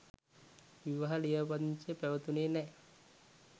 විවාහ ලියාපදිංචිය පැවතුණේ නෑ.